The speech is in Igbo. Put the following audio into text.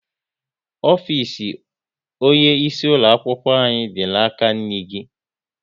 Ofisi onye isi ulo akwụkwọ anyị dị n'aka nri gị